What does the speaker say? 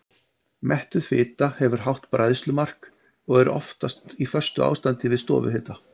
Mettuð fita hefur hátt bræðslumark og er oftast í föstu ástandi við stofuhita.